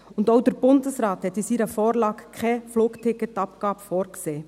Auch der Bundesrat sieht in seiner Vorlage keine Flugticket-Abgabe vor.